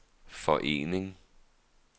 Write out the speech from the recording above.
forening